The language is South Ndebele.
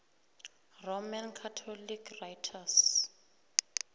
roman catholic writers